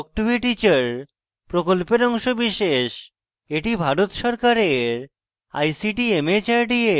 এটি ভারত সরকারের ict mhrd এর জাতীয় শিক্ষা mission দ্বারা সমর্থিত